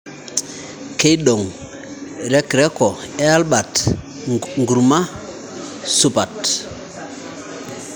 Keidong rekreko ee Albert nkuruma supat